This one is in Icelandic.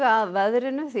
að veðri